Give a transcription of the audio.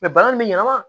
bana in bɛ ɲanama